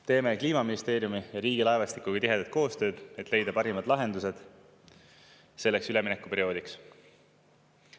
Teeme Kliimaministeeriumi ja Riigilaevastikuga tihedat koostööd, et leida parimad lahendused selleks üleminekuperioodiks.